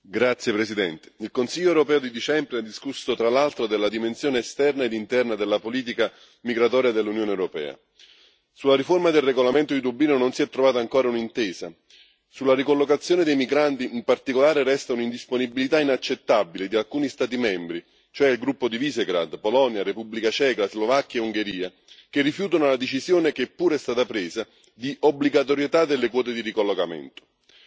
Signor Presidente, onorevoli colleghi, il Consiglio europeo di dicembre ha discusso, tra l'altro, della dimensione esterna ed interna della politica migratoria dell'Unione europea. Sulla riforma del regolamento di Dublino non si è ancora trovata un'intesa. Sulla ricollocazione dei migranti, in particolare, resta un'indisponibilità inaccettabile di alcuni Stati membri, cioè il gruppo di Visegrad composto da Polonia, Repubblica Ceca, Slovacchia e Ungheria, che rifiutano la decisione, che pure è stata presa, di obbligatorietà delle quote di ricollocamento.